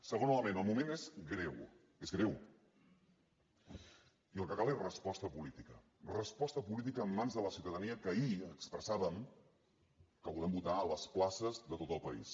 segon element el moment és greu és greu i el que cal és resposta política resposta política en mans de la ciutadania que ahir expressàvem que volem votar a les places de tot el país